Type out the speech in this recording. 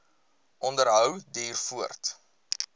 onderhou duur voort